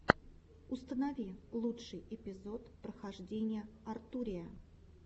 установи лучший эпизод похождений артурия